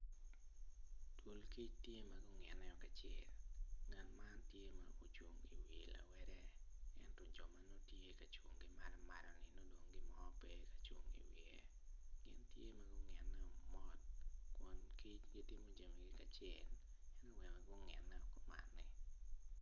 Dul kic tye ma gungine kacel ngat man tye ma ocung i wi lawede ento jo ma gucung ki maloni ngat mo pe ocung ki i wiye gin tye ma gungineo mot kun kic gitimo jami kacel ma gungine kumanni.